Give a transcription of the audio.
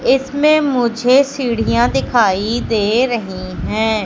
इसमें मुझे सीढ़ियां दिखाई दे रहीं हैं।